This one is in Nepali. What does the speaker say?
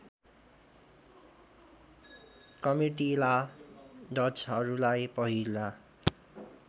कमिटिला डचहरूलाई पहिला